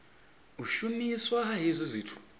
u shumiswa ha hezwi zwithu